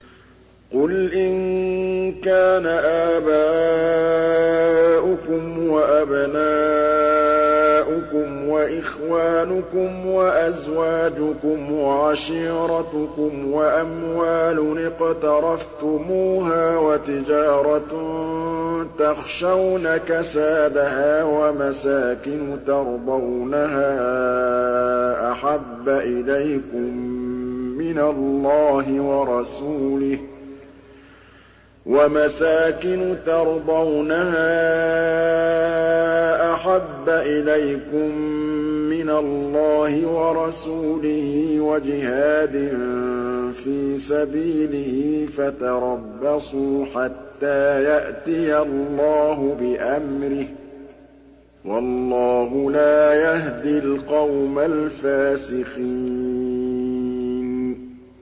قُلْ إِن كَانَ آبَاؤُكُمْ وَأَبْنَاؤُكُمْ وَإِخْوَانُكُمْ وَأَزْوَاجُكُمْ وَعَشِيرَتُكُمْ وَأَمْوَالٌ اقْتَرَفْتُمُوهَا وَتِجَارَةٌ تَخْشَوْنَ كَسَادَهَا وَمَسَاكِنُ تَرْضَوْنَهَا أَحَبَّ إِلَيْكُم مِّنَ اللَّهِ وَرَسُولِهِ وَجِهَادٍ فِي سَبِيلِهِ فَتَرَبَّصُوا حَتَّىٰ يَأْتِيَ اللَّهُ بِأَمْرِهِ ۗ وَاللَّهُ لَا يَهْدِي الْقَوْمَ الْفَاسِقِينَ